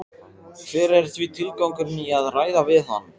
Hver er því tilgangurinn í að ræða við hann?